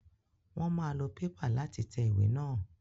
Wọ́n máa lo Pépà láti tẹ ìwé náà.